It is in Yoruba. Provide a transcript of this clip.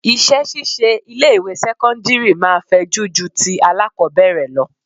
Iṣẹ́ ṣíṣe ilé ìwé sẹ́cọ́ndírì máa fẹjú ju ti alákọbẹ̀rẹ̀ lọ.